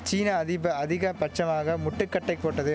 சீனா அதிப அதிக பட்சமாக முட்டுக்கட்டைப் போட்டது